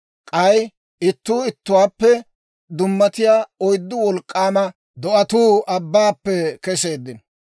K'ay ittuu ittuwaappe dummatiyaa oyddu wolk'k'aama do'atuu abbaappe keseeddino.